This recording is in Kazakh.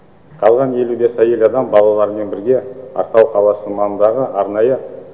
қалған елу бес әйел адам балаларымен бірге ақтау қаласы маңындағы арнайы